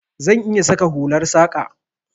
Zan iya saka hular saƙa.